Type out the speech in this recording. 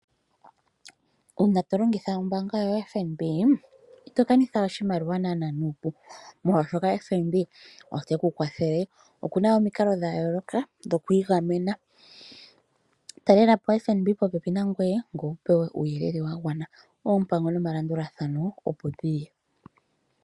Una to longitha ombaanga yoFNB ito kanitha oshimaliwa nana nupu, molwashoka FNB ote ku kwathele okuna omikalo dhayoloka dhoku igamena. Talela po oFNB popepi nangoye, ngoye wu pewe uuyelele wa gwana oompango nomalandulathano opo dhili.